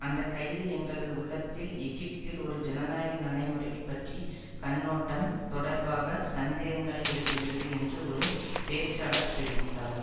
அந்த கைது எங்களது உள்ளத்தில் எகிப்தில் ஒரு ஜனநாயக நடைமுறை பற்றி கண்ணோட்டம் தொடர்பாக சந்தேகங்களை எழுப்புகிறது என்று ஒரு பேச்சாளர் தெரிவித்தார்